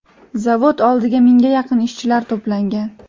Zavod oldiga mingga yaqin ishchilar to‘plangan.